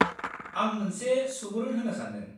आं मोनसे सुबुरुन होनो सान्दों।